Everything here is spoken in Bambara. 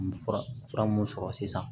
Fura fura mun sɔrɔ sisan